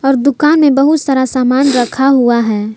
और दुकान में बहुत सारा सामान रखा हुआ है।